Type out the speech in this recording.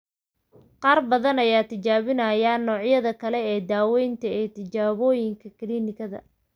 Qaar badan ayaa tijaabinaya noocyada kale ee daawaynta ee tijaabooyinka kiliinikada.